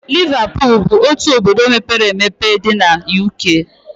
Liverpool bụ otu obodo mepere emepe dị na UK